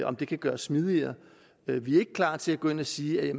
om det kan gøres smidigere vi er ikke klar til at gå ind at sige at